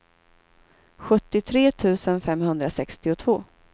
sjuttiotre tusen femhundrasextiotvå